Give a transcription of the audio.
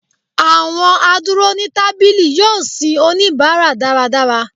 awọn aduro ni tabili yọọ sin onibara daradara.